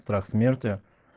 страх смерти